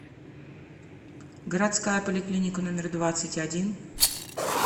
городская поликлиника номер двадцать один